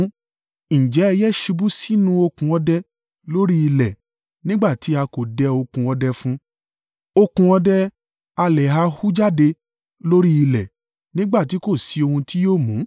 Ǹjẹ́ ẹyẹ ṣubú sínú okùn ọdẹ lórí ilẹ̀ nígbà tí a kò dẹ okùn ọdẹ fún un? Okùn ọdẹ ha lè hù jáde lórí ilẹ̀ nígbà tí kò sí ohun tí yóò mú?